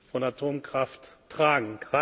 Sicherheit von